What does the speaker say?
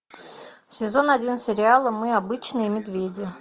сезон один сериала мы обычные медведи